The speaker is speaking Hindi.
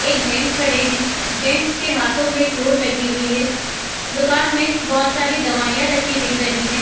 एक जेन्ट्स खड़े है | जेन्ट्स के हाथों में चोट लगी हुई है | दुकान में बहोत सारी दवाइयाँ रखी हुई दिख रही हैं |